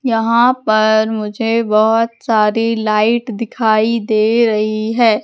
यहाँ पर मुझे बहोत सारी लाइट दिखाई दे रही है।